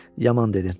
Yaman dedin.